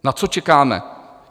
Na co čekáme?